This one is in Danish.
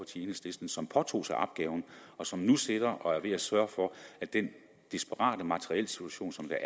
enhedslisten som påtog sig opgaven og som nu sidder og er ved at sørge for at den desperate materielsituation som jeg